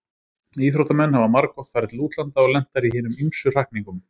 Íþróttamenn hafa margoft farið til útlanda og lent þar í hinum ýmsu hrakningum.